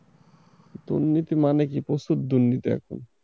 দুর্নীতি মানে কি প্রচুর দুর্নীতি এখন।